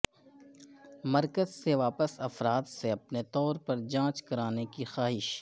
مرکز سے واپس افرادسے اپنے طور پر جانچ کرانے کی خواہش